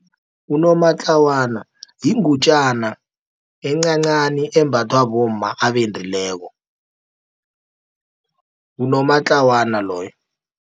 Unomatlawana yingutjana encancani, embathwa bomma abendileko, ngunomatlawana loyo.